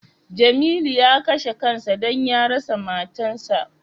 Jamilu ya kashe kan sa don ya rasa matan sa.